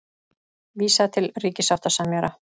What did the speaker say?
Vísa til ríkissáttasemjara